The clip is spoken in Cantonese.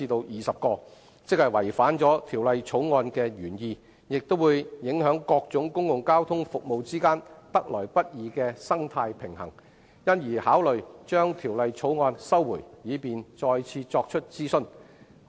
運輸及房屋局認為有關修訂既違反《條例草案》的原意，亦會影響各種公共交通服務之間得來不易的生態平衡，因而考慮撤回《條例草案》，以便再作諮詢。